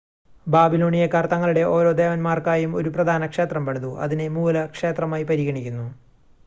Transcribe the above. ബാബിലോണിയക്കാർ തങ്ങളുടെ ഓരോ ദേവന്മാർക്കായും ഒരു പ്രധാന ക്ഷേത്രം പണിതു അതിനെ മൂല ക്ഷേത്രമായി പരിഗണിക്കുന്നു